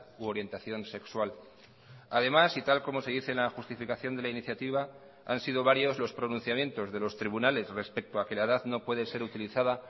u orientación sexual además y tal como se dice la justificación de la iniciativa han sido varios los pronunciamientos de los tribunales respecto a que la edad no puede ser utilizada